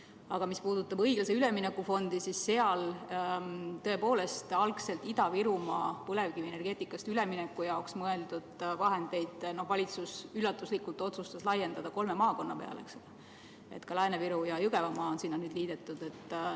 Aga mis puudutab õiglase ülemineku fondi, siis seal tõepoolest algselt Ida-Virumaale põlevkivienergeetikast väljumise jaoks mõeldud vahendeid otsustas valitsus üllatuslikult laiendada kolme maakonna peale, ka Lääne-Viru ja Jõgevamaa on nüüd sinna liidetud.